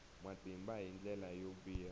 matimba hi ndlela yo biha